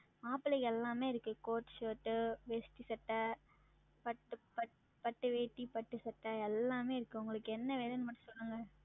மாப்ளைக் எல்லாமே இருக்கு Court Shirt to வேஸ்ட்டி சட்ட, பட்டு பட்டு வேட்டி பட்டு சட்ட எல்லாமே இருக்கு. உங்களுக்கு என்ன வேணும்ன்னு மட்டும் சொல்லுங்க.